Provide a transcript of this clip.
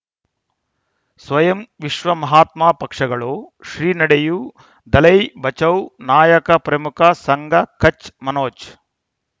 ಸ್ವಯಂ ವಿಶ್ವ ಮಹಾತ್ಮ ಪಕ್ಷಗಳು ಶ್ರೀ ನಡೆಯೂ ದಲೈ ಬಚೌ ನಾಯಕ ಪ್ರಮುಖ ಸಂಘ ಕಚ್ ಮನೋಜ್